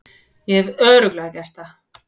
Ég hef Örugglega gert það.